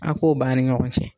A' k'o ban a' ni ɲɔgɔn cɛ.